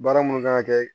Baara mun kan ka kɛ